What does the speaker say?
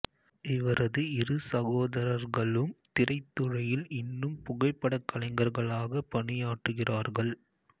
இவரது இரு சகோதரர்களும் திரைத்துறையில் இன்னும் புகைப்படக் கலைஞர்களாக பணியாற்றுகிறார்கள்